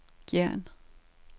Gjern